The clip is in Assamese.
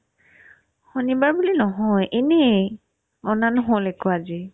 শনিবাৰ বুলি নহয় এনেই বনা নহ'ল একো অজি